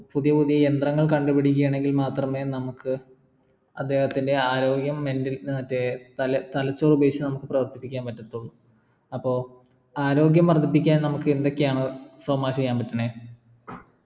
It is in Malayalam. പുതിയ പുതിയ യന്ത്രങ്ങൾ കണ്ടുപ്പിക്കുകയാണെങ്കിൽ മാത്രമെ നമുക്ക് അദ്ദേഹത്തിൻ്റെ ആരോഗ്യം mental മറ്റെ തല തലചോർ ഉപയോഗിച്ച് പ്രവർത്തിപ്പിക്കാൻ പറ്റതുള്ളു അപ്പൊ ആരോഗ്യം വർധിപ്പിക്കാൻ നമുക്കെന്തയൊക്കെയാണോ സൊമ ചെയ്യാൻ പറ്റണേ